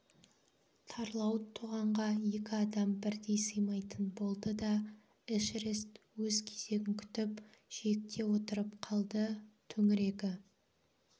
тарлауыт тоғанға екі адам бірдей сыймайтын болды да эшерест өз кезегін күтіп жиекте отырып қалды төңірегі